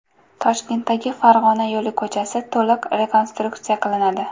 Toshkentdagi Farg‘ona yo‘li ko‘chasi to‘liq rekonstruksiya qilinadi.